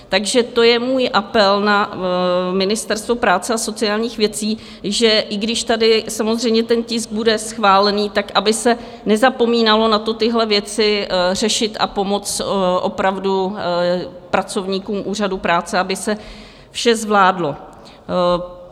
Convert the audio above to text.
Takže to je můj apel na Ministerstvo práce a sociálních věcí, že i když tady samozřejmě ten tisk bude schválený, tak aby se nezapomínalo na to, tyhle věci řešit a pomoct opravdu pracovníkům úřadu práce, aby se vše zvládlo.